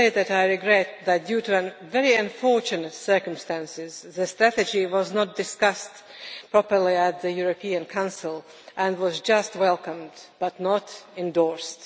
I regret that, due to very unfortunate circumstances, the strategy was not discussed properly at the European Council and was just welcomed but not endorsed.